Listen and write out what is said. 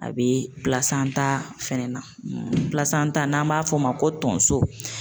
A bɛ fɛnɛ na, n'an b'a f'o ma ko tonso